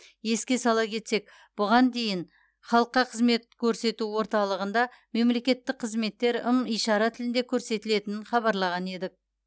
еске сала кетсек бұған дейін халыққа қызмет көрсету орталығында мемлекеттік қызметтер ым ишара тілінде көрсетілетін хабарлаған едік